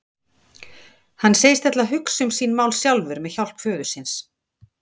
Hann segist ætla að hugsa um sín mál sjálfur með hjálp föður síns.